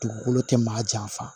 Dugukolo tɛ maa janfa